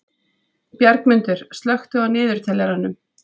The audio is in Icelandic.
Bjargmundur, slökktu á niðurteljaranum.